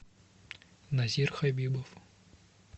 назир хабибов